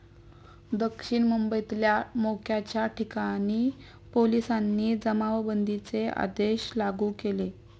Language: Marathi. दक्षिण मुंबईतल्या मोक्याच्या ठिकाणी पोलिसांनी जमावबंदीचे आदेश लागू केले.